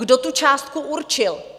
Kdo tu částku určil?